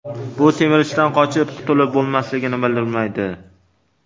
Bu semirishdan qochib qutilib bo‘lmasligini bildirmaydi.